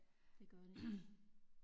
Det gør de